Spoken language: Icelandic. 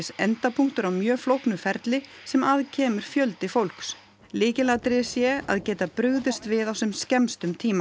endapunktur á mjög flóknu ferli sem að kemur fjöldi fólks lykilatriði sé að geta brugðist við á sem skemmstum tíma